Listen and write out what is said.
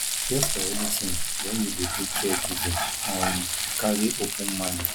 prepare for anything when you dey do caregiving um carry open mind